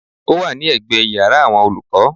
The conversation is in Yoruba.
Ó wà ní ègbé iyàrá àwon olúkó